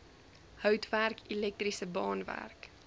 houtwerk elektriese baanwerk